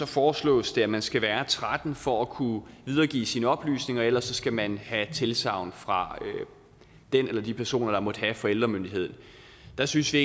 foreslås det at man skal være tretten år for at kunne videregive sine oplysninger og ellers skal man have tilsagn fra den eller de personer der måtte have forældremyndigheden der synes vi